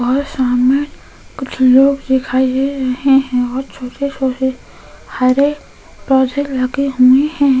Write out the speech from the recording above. और सामने कुछ लोग दिखाई दे रहे हैं और छोटे-छोटे हरे पौधे लगे हुए हैं।